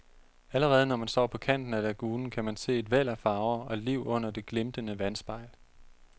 Allerede når man står på kanten af lagunen, kan man se et væld af farver og liv under det glimtende vandspejl.